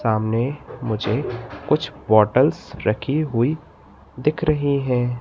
सामने मुझे कुछ बॉटल्स रखी हुई दिख रही हैं।